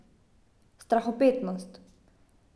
Strahopetnost.